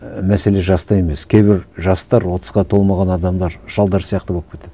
і мәселе жаста емес кейбір жастар отызға толмаған адамдар шалдар сияқты болып кетеді